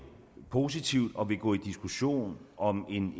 positivt på og vil gå i diskussion om en